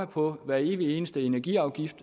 på hver evig eneste energiafgift